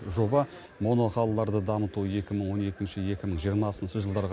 жоба моноқалаларды дамыту екі мың он екінші екі мың жиырмасыншы жылдарға